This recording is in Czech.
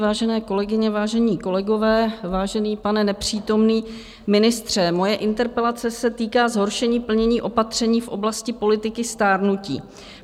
Vážené kolegyně, vážení kolegové, vážený pane nepřítomný ministře, moje interpelace se týká zhoršení plnění opatření v oblasti politiky stárnutí.